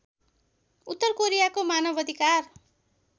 उत्तर कोरियाको मानवअधिकार